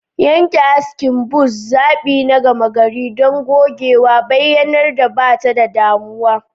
Yanke askin buzz, zaɓi na gama gari don gogewa, bayyanar da ba ta da damuwa.